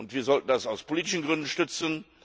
Wir sollten das aus politischen Gründen unterstützen.